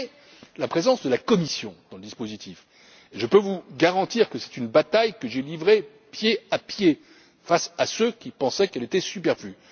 Quant à la présence de la Commission dans le dispositif, je peux vous garantir que c'est une bataille que j'ai livrée, pied à pied, face à ceux qui pensaient qu'elle était superflue.